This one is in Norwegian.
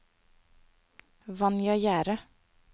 Vanja Gjerde